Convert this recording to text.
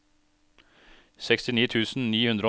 sekstini tusen ni hundre og ni